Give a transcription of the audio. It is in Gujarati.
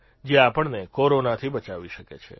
જે આપણને કોરોનાથી બચાવી શકે છે